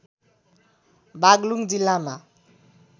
बागलुङ जिल्लामा